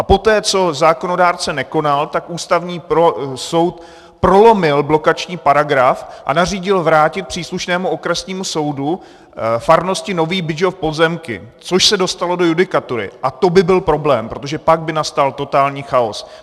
A poté, co zákonodárce nekonal, tak Ústavní soud prolomil blokační paragraf a nařídil vrátit příslušnému okresnímu soudu farnosti Nový Bydžov pozemky, což se dostalo do judikatury, a to by byl problém, protože pak by nastal totální chaos.